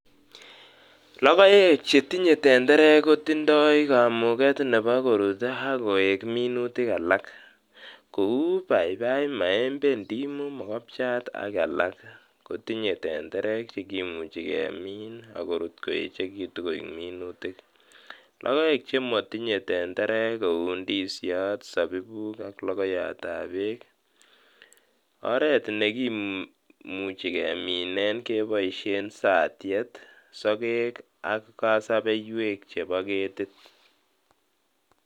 Lokoek chetindo tenderek kotindoi kamuket nebo korut akoik minutik alak, kou paipai, maembe, ndimo, mokopchat ak alak kotinye tenderek chekimuchi kemin ak korut koechekitun koik minutik, lokoek chemotinye tenderek kou ndisiot, sabibuk ak lokoyatab beek, oreet nikimuchi keminen keboishen satiet, sokek ak kosobeiwek chebo ketit.